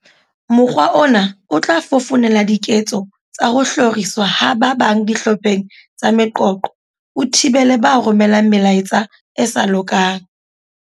"Mokgwa ona o tla fofonela diketso tsa ho hloriswa ha ba bang dihlopheng tsa meqoqo, o thibele ba romelang melaetsa e sa lokang."